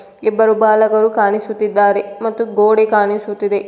ಇಬ್ಬರು ಬಾಲಕರು ಕಾಣಿಸುತ್ತಿದ್ದಾರೆ ಮತ್ತು ಗೋಡೆ ಕಾಣಿಸುತ್ತಿದೆ.